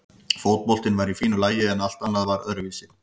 Fótboltinn var í fínu lagi en allt annað var svo öðruvísi.